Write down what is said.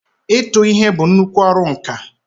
ịtụ ihe bụ nnuku ọrụ nka.